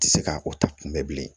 Tɛ se ka o ta kunbɛ bilen